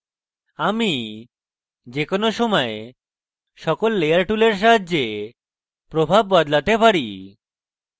আমি যে কোনো সময় সকল layer টুলের সাহায্যে প্রভাব বদলাতে পারি